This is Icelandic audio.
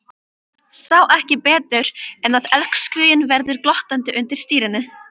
Sá ekki betur en að elskhuginn væri glottandi undir stýrinu.